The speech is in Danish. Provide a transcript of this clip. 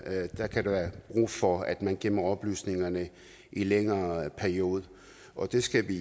brug for at man gemmer oplysningerne i en længere periode og det skal vi